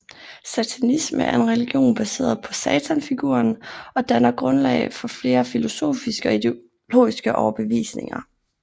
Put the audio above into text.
Satanisme er en religion baseret på satanfiguren og danner grundlag for flere filosofiske og ideologiske overbevisninger